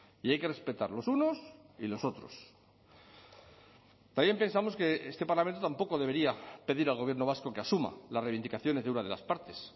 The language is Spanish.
y hay que respetar los unos y los otros también pensamos que este parlamento tampoco debería pedir al gobierno vasco que asuma las reivindicaciones de una de las partes